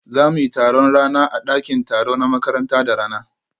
Za mu yi taron rana a ɗakin taro na makaranta da rana